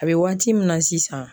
A bɛ waati min na sisan.